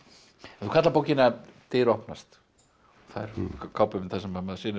þú kallar bókina dyr opnast það er kápumynd þar sem maður sér